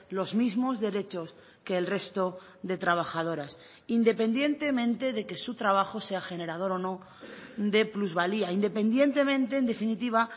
los mismos derechos que el resto de trabajadoras independientemente de que su trabajo sea generador o no de plusvalía independientemente en definitiva